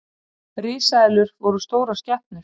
Risaeðlur voru stórar skepnur.